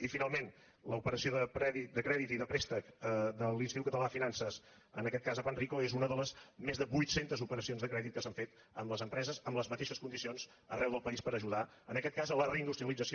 i finalment l’operació de crèdit i de préstec de l’institut català de finances en aquest cas a panrico és una de les més de vuit centes operacions de crèdit que s’han fet amb les empreses en les mateixes condicions arreu del país per ajudar en aquest cas a la reindustrialització